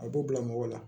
A b'u bila mɔgɔ la